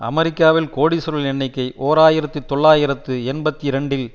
அமெரிக்காவில் கோடீசுவரர்களின் எண்ணிக்கை ஓர் ஆயிரத்தி தொள்ளாயிரத்து எண்பத்தி இரண்டில்